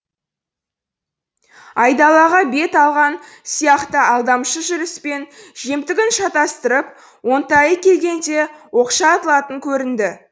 айдалаға бет алған сияқты алдамшы жүріспен жемтігін шатастырып оңтайы келгенде оқша атылатын көрінеді